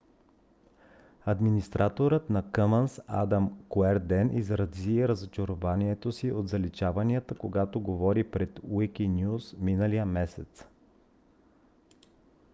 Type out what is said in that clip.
администраторът на commons адам куерден изрази разочарованието си от заличаванията когато говори пред wikinews миналия месец